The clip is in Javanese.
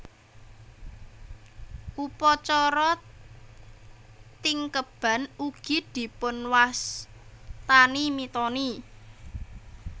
Upacara Tingkeban ugi dipunwastani mitoni